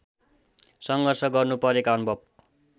सङ्घर्ष गर्नुपरेका अनुभव